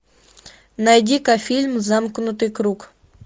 найди ка фильм замкнутый круг